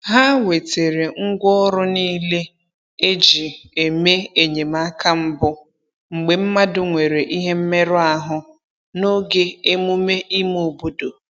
Ha wetere ngwa ọrụ niile e ji eme enyemaka mbụ mgbe mmadụ nwere ihe mmerụ ahụ n'oge emume ime obodo